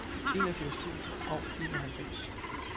enogfirs tusind og enoghalvfems